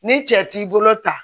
Ni cɛ t'i bolo ta